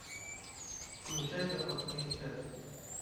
включай запасные части